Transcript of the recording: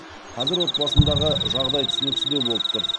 қазір отбасымдағы жағдай түсініксіздеу болып тұр